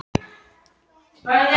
Heimir: Var erfitt að ákveða sig?